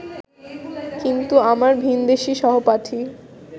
কিন্তু আমার ভিনদেশী সহপাঠী